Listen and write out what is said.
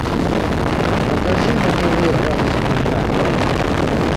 покажи на тв радость моя